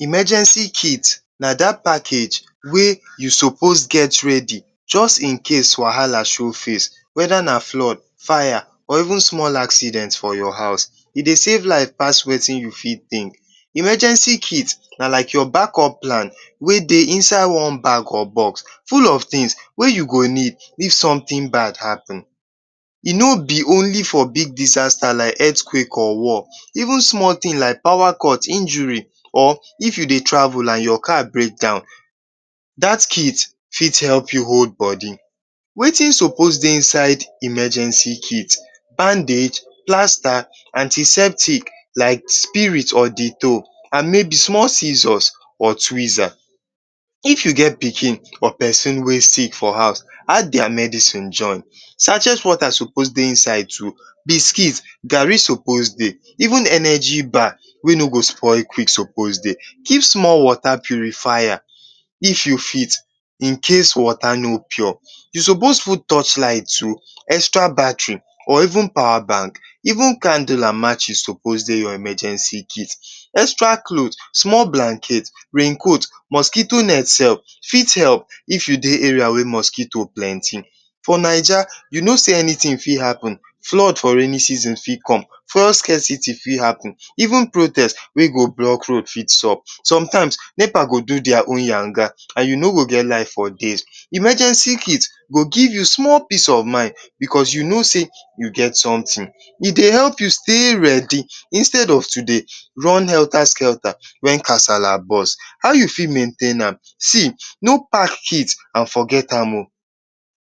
Emergency kit na da package wey you sopos get ready ready just in case wahala show face, weda na flood, fire or even small accident for your house. E dey safe life pass wetinyou fit tink, emergency kit na like your back up plan wey dey inside one bag or box full of tins wey you go need if somtin bad happen. E no be holy for big disasta like earthquake or war, even small tin like pawa cut injur, if you dey travel your car break down, dat kit fit help you hold bodi. Wetin sopos dey emergency kid: handage, plasta, antiseptic like spirit and mey be small scissors and twizas. If you get pikin or pesin wey sick for house, add dia medicine join. Sachet wota sopos dey inside too. The kit, gari sopos dey even energy bar wey no go spoil quick sopos dey, keep small wota purifier it incase wota no pure, sopos put torch light too, extra battery, even pawa bank, even candle and matches sopos dey your emergency kit. Extra clot, rain coat, small blanket mosquito net sef fit help if you dey area area wey mosquito plenti. For Naija, you no sey anytin fit happen, flood for rainin season fit come, fuel scarcity fit happen, even protest wey go block road fit sub. Somt times, nepa go do dia own yanga, you no go get light for days, emergency kit go give you small peace of mind, e dey help you stay ready instead of to dey run helta-skelta wen casala boast. If you fit maintain am, see no pack kit and forget am o.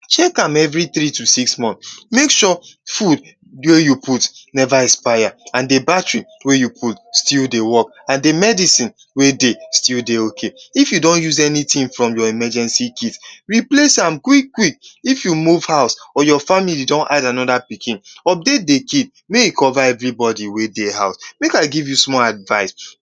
chek am every three to six month, make sure fud you put neva expire. The battery wey you put still dey work, the medicine wey dey still dey ok. If you don use anytin from your emergency kit, replace am quick-quick. If you move house or your family don add anoda pikin, update the kit mey e cova every bodi wey dey house.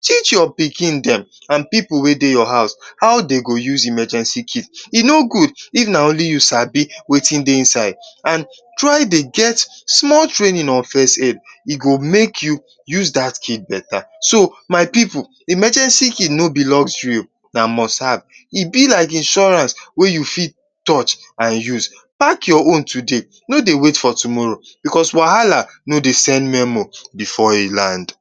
Teach your pikin dem and pipu wey dey your house, how dem go use emergency kit. E n gud if na only you sabi wetin dey inside. Try dey get small trainin on first aid, e go make you use dat kit beta. So my pipu, emergency kit no be luxury o na must have. E be like insurance wey you fit touch and use. Pack your own today no dey wait for tomoro because wahala no dey send memo before e land.